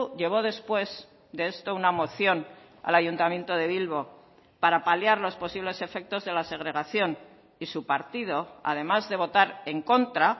llevó después de esto una moción al ayuntamiento de bilbo para paliar los posibles efectos de la segregación y su partido además de votar en contra